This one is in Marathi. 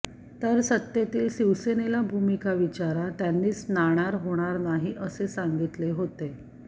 तर सत्तेतील शिवसेनेला भूमिका विचारा त्यांनीच नाणार होणार नाही असे सांगितले होते